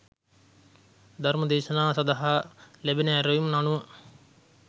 ධර්ම දේශනා සඳහා ලැබෙන ඇරැයුම් අනුව